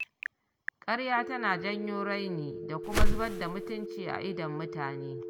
Karya tana janyo raini da kuma zubar da mutunci a idon mutane